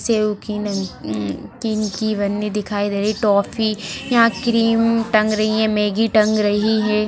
Save की की नमकीन की की पन्नी दिखाई दे रही है टॉफी यहां क्रीम टंग रही है मैगी टंग रही है।